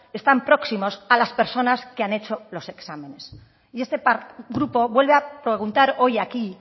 están próximos a las personas que han hecho los exámenes y este grupo vuelve a preguntar hoy aquí